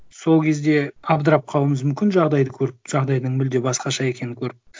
сол кезде абдырап қалуымыз мүмкін жағдайды көріп жағдайдың мүлде басқаша екенін көріп